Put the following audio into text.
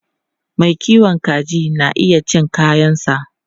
Mai kiwon kaji na iya cin kayansa.